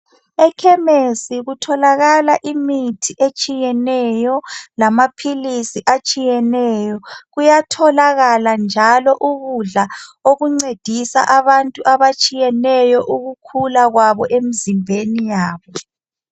Ekhemesi kutholakala imithi etshiyeneyo lamaphilisi atshiyeneyo. Kuyatholakala njalo ukudla okuncedisa abantu abatshiyeneyo ukukhula kwabo emzimbeni yabo.